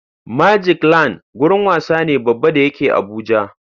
Magicland gurin wasa ne Baba da yake Abuja